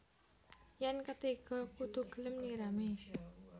Yén ketiga kudu gelem nyirami